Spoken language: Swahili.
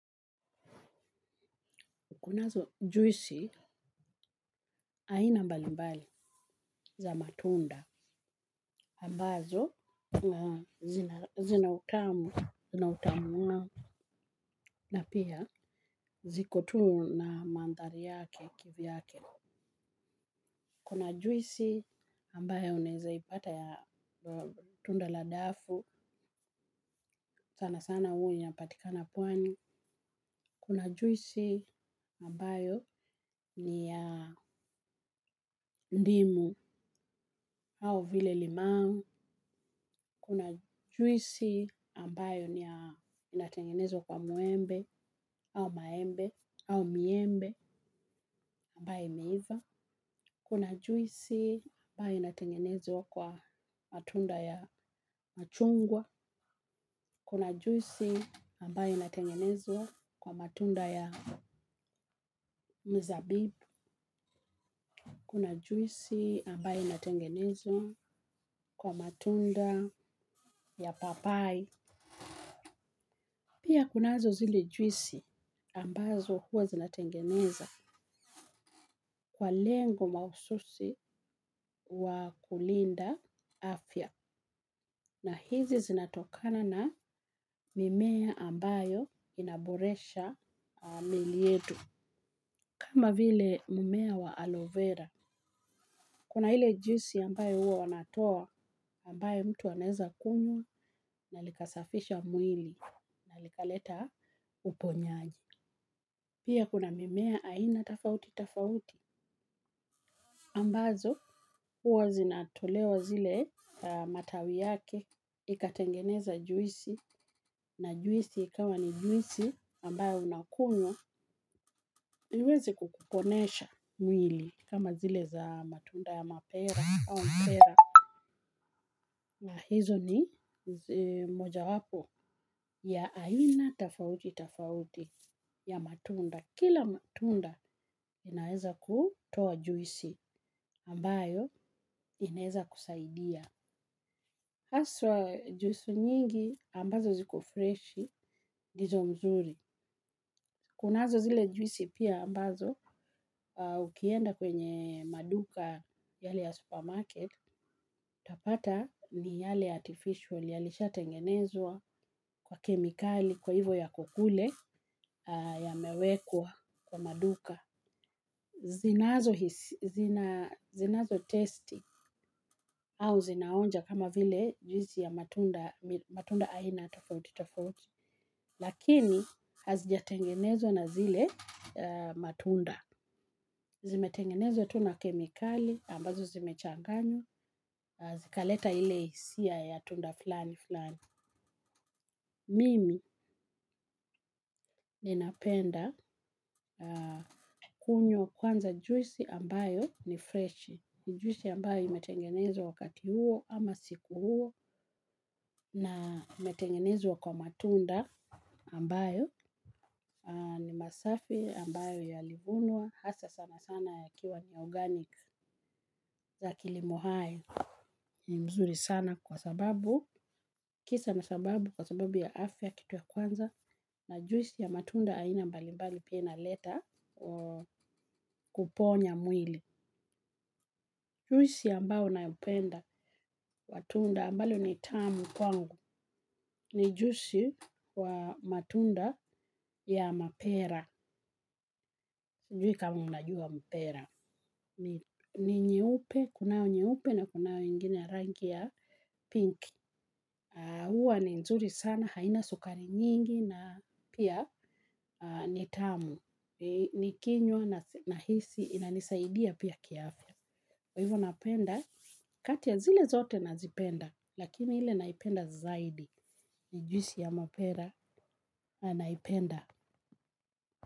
Kunazo juisi aina mbalimbali za matunda. Ambazo zina utamu na pia ziko tu na mandhari yake kivyake. Kuna juisi ambayo unaeza ipata ya tunda la dafu sana sana uwe yapatikana pwani. Kuna juisi, ambayo ni ya ndimu au vile limau. Kuna juisi ambayo inatengenezwa kwa mwembe, au maembe, au miembi, ambayo imeiva. Kuna juisi ambayo inatengenezwa kwa matunda ya machungwa. Kuna juisi ambayo inatengenezwa kwa matunda ya mzabibu. Kuna juisi ambayo inatengenezwa kwa matunda ya papai. Pia kunazo zile juisi, ambazo huwa zinatengeneza kwa lengo mahususi wa kulinda afya. Na hizi zinatokana na mimea ambayo inaboresha mili etu. Kama vile mimea wa aloe vera. Kuna ile juisi ambayo huwa wanatoa ambayo mtu anaeza kunywa na likasafisha mwili na likaleta uponyaji. Pia kuna mimea aina tafauti tafauti ambazo uwa zinatolewa zile matawi yake ikatengeneza juisi na juisi ikawa ni juisi ambayo unakunywa iwezi kukukonesha mwili kama zile za matunda ya mapera au mpera na hizo ni mojawapo ya aina tafauti tafauti ya matunda. Kwa kila matunda inaeza kutoa juisi ambayo inaeza kusaidia. Haswa juisi nyingi ambazo ziko freshi, ndizo mzuri. Kunazo zile juisi pia ambazo ukienda kwenye maduka yale ya supermarket, utapata miyale artificial yalishatengenezwa kwa kemikali kwa hivo yako kule yamewekwa kwa maduka. Zinazo testi au zinaonja kama vile juisi ya matunda aina tofauti tofauti. Lakini hazijatengenezwa na zile matunda. Zimetengenezo tu na kemikali ambazo zimechanganywa zikaleta ile hisia ya tunda flani flani. Mimi ninapenda kunywa kwanza juisi ambayo ni freshi. Juisi ambayo imetengenezwa wakati huo ama siku huo na imetengenezwa kwa matunda ambayo ni masafi ambayo yalivunwa hasa sana sana yakiwa ni organic ya kilimo hai ni mzuri sana kwa sababu kisa na sababu kwa sababu ya afya kitu ya kwanza na juisi ya matunda aina mbali mbali pia inaleta kuponya mwili. Juisi ambao nayopenda wa tunda ambalo ni tamu kwangu, ni juisi wa matunda ya mapera, sijui kama unajua mpera, ni nyeupe, kunao nyeupe na kunao ingine ya rangi ya pink, huwa ni nzuri sana, haina sukari nyingi na pia ni tamu, nikinywa nahisi, inanisaidia pia kiafya. Kwa ivo napenda kati ya zile zote nazipenda lakini ile naipenda zaidi ni juisi ya mapera na naipenda.